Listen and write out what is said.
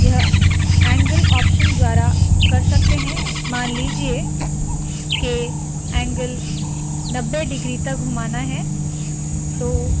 यह angle option द्वारा कर सकते है मान लीजिए के ऐंगगल 90 डिग्री तक घुमाना है